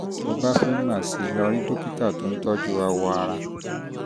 tó o bá um fẹ́ mọ̀ sí i mọ̀ sí i lọ rí dókítà tó ń tọ́jú awọ ara